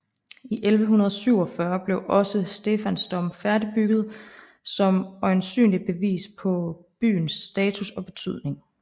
I 1147 blev også Stephansdom færdigbygget som øjensynligt bevis på byens status og betydning